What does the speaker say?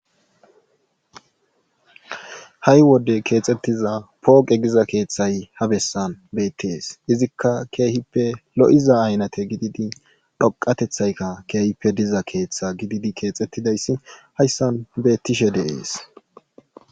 Hay wode kexxetida pooqe giza besan beetes. izikka keehippe lo'iza aynate gididi dhoqatetaykka keehippe diza keeththa gididi keexetidi hayssan beetishe de'ees.